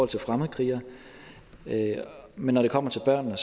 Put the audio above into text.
til fremmedkrigere men når det kommer til børnene